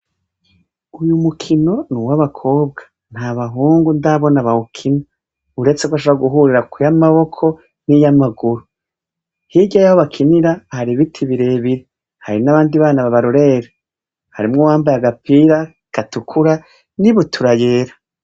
Uyu mukino n' uwabakobwa, nta bahungu ndabona bawukina, uretse ko bashobora guhurira kuy' amaboko n' niy'amaguru. Hirya yaho bakinira, hari ibiti birebire, hari n' abandi bana babarorera. Harimwo uwambaye agapira gatukura n' ibutura yera.